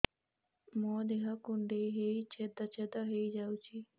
ମୋ ଦେହ କୁଣ୍ଡେଇ ହେଇ ଛେଦ ଛେଦ ହେଇ ଯାଉଛି